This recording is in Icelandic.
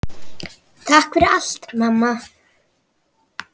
Takk fyrir allt, mamma.